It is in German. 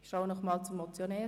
Ich blicke zum Motionär.